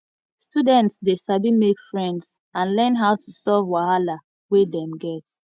students de sabi make friends and learn how to solve wahala wey dem get